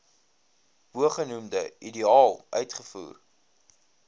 bogenoemde ideaal uitgevoer